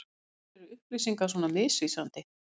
Af hverju er upplýsingar svona misvísandi?